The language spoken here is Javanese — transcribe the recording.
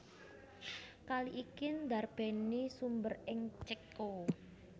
Kali iki ndarbèni sumber ing Céko